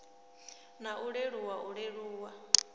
na u leluwa u leluwa